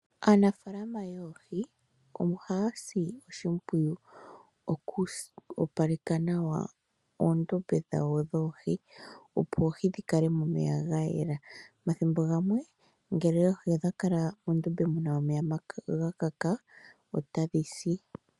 Aanafalama yoohi ohaya si oshimpwiyu oku opaleka nawa oondombe dhawo dhoohi, opo oohi dhikale momeya gayela. Omathimbo gamwe ngele oohi odha kala mondombe muna omeya gakaka, otadhi si.